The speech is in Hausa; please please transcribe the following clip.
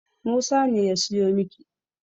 Musa ne ya siyo miki.